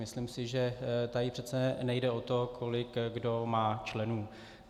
Myslím si, že tady přece nejde o to, kolik kdo má členů.